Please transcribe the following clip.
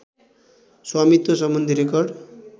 स्वामित्व सम्बन्धी रेकर्ड